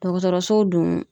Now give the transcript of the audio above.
Dɔgɔtɔrɔso dun